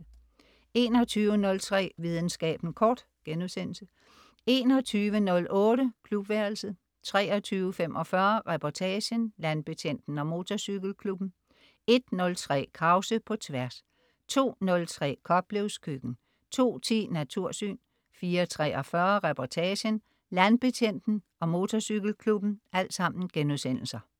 21.03 Videnskaben kort* 21.08 Klubværelset* 23.45 Reportagen: Landbetjenten og motorcykelklubben* 01.03 Krause på Tværs* 02.03 Koplevs Køkken* 02.10 Natursyn* 04.43 Reportagen: Landbetjenten og motorcykelklubben*